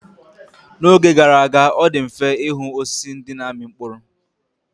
N'oge gara aga, ọ dị mfe ịhụ osisi ndị na-amị mkpụrụ.